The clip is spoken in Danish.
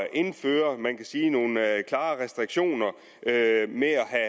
indføre man kan sige nogle klare restriktioner i at jage